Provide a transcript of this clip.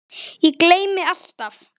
Ég gleymi alltaf.